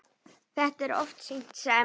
Þetta er oft sýnt sem